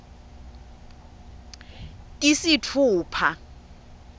tisitfupha